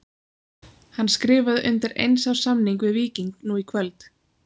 Hann skrifaði undir eins árs samning við Víking nú í kvöld.